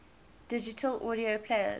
digital audio players